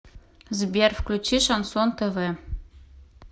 сбер включи шансон тв